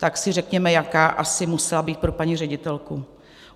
Tak si řekněme, jaká asi musela být pro paní ředitelku.